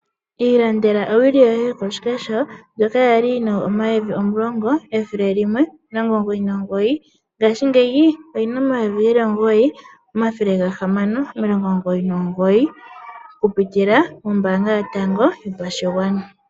Ilandela owili yoye yokoshikesho ndyoka yali yina omayovi omulongo ethele limwe omilongo omugoyi nomugoyi ngaashi ngeyi oyina omayovi geli omugoyi omathele gahamano omilongo omugoyi nomugoyi kupitila kombanga yotango yopashigwana.